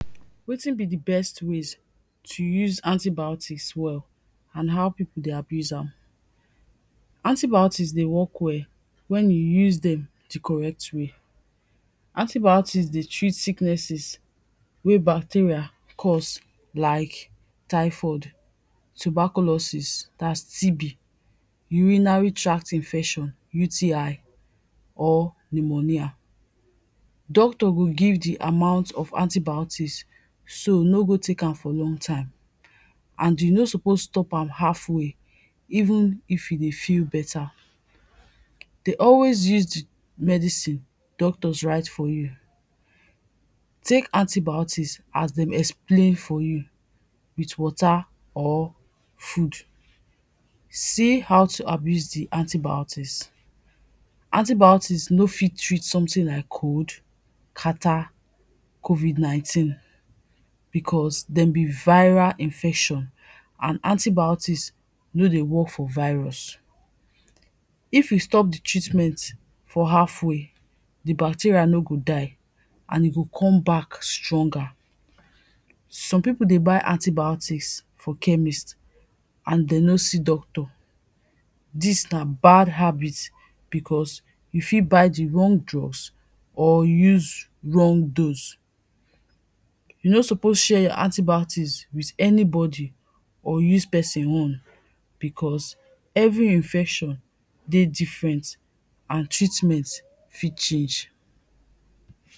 Wetin be di best ways to use antibiotics well and how pipo dey abuse am. Antibiotics dey work well when you use dem di correct way. Antibiotics dey treat sicknesses wey bacteria cause like typhoid, tuberculosis dats (TB), urinary tract infection (UTI) or pneumonia. Doctor go give di amount of antibiotics, so no go tek am for long time and you no suppose stop am half way even if you dey feel better. Dey always use di medicine doctors write for you, tek antibiotics as dem explain for you with water or food. See how to abuse di antibiotics, antibiotics no fit treat something like cold, catarrh, COVID 19 becos dem be viral infection and antibiotics no dey work for virus. If you stop di treatment for half way, di bacteria no go die and e go come back stronger. Some pipo dey buy antibiotics from chemist and dey no see doctor, dis na bad habit becos you fit buy di wrong drugs or use wrong dose. You no suppose share your antibiotics with anybody or use person own becos every infection dey different and treatment fit change.